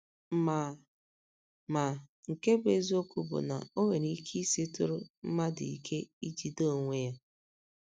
Ma Ma, nke bụ́ eziokwu bụ na o nwere ike isitụrụ mmadụ ike ijide onwe ya.